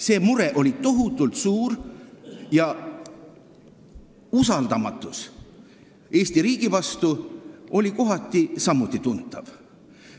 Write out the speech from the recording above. See mure oli tohutult suur ja usaldamatus Eesti riigi vastu oli kohati samuti tuntav.